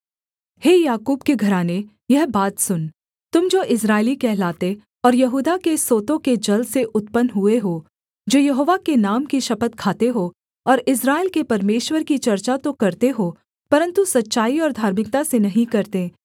हे याकूब के घराने यह बात सुन तुम जो इस्राएली कहलाते और यहूदा के सोतों के जल से उत्पन्न हुए हो जो यहोवा के नाम की शपथ खाते हो और इस्राएल के परमेश्वर की चर्चा तो करते हो परन्तु सच्चाई और धार्मिकता से नहीं करते